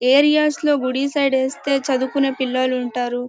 Areas లో గుడి side వేస్తే చదువుకునే పిల్లలు ఉంటరు.